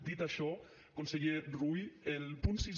dit això conseller rull el punt sis